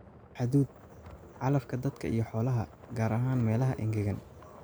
Hadhuudh: calafka dadka iyo xoolaha, gaar ahaan meelaha engegan.